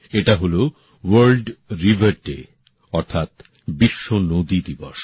এটা হল world river day অর্থাৎ বিশ্ব নদী দিবস